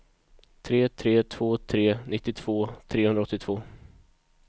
tre tre två tre nittiotvå trehundraåttiotvå